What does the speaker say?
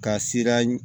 Ka sira